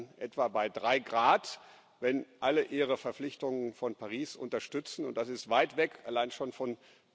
Wir landen etwa bei 3 wenn alle ihre Verpflichtungen von Paris unterstützen, und das ist weit weg allein schon von